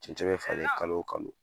Cɛncɛn bi falen kalo o kalo